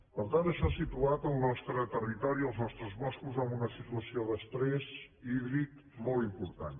per tant això ha situat el nostre territori els nostres boscos en una situació d’estrès hídric molt important